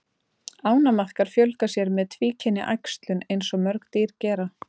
Ánamaðkar fjölga sér með tvíkynja æxlun eins og mörg dýr gera.